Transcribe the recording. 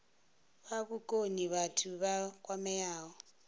fha vhukoni vhathu vha kwameaho